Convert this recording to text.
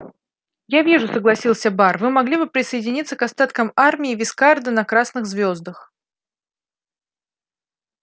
я вижу согласился бар вы могли бы присоединиться к остаткам армии вискарда на красных звёздах